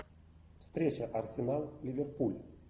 встреча арсенал ливерпуль